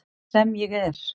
Sem ég er.